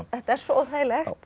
þetta er svo óþægilegt